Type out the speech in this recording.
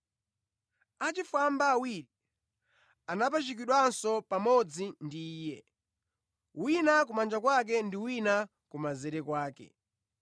Achifwamba awiri anapachikidwanso pamodzi ndi Iye, wina kumanja kwake ndi wina kumanzere kwake.